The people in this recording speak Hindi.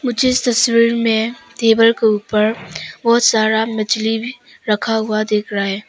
मुझे इस तस्वीर में टेबल के ऊपर बहोत सारा मछली भी रखा हुआ दिख रहा है।